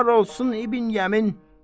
Var olsun İbn Yəmin!